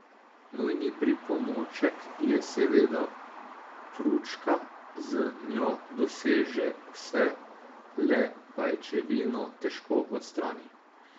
Nujni pripomoček je seveda pručka, z njo doseže vse, le pajčevino težko odstrani.